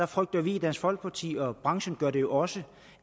frygter i dansk folkeparti og branchen gør det også